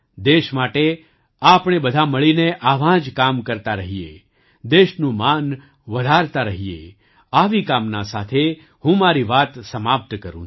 દેશ માટે આપણે બધા મળીને આવાં જ કામો કરતા રહીએ દેશનું માન વધારતા રહીએ આવી કામના સાથે હું મારી વાત સમાપ્ત કરું છું